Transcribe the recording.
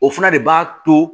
O fana de b'a to